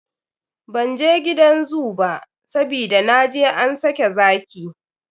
Bzan je gidan zoo ba, sabida na je an sake zaki.